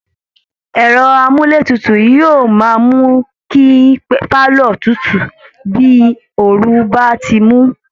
Ẹ̀rọ amúlétutù ni yóò máa mú kí pálọ̀ tutù bí ooru bá ti ń mú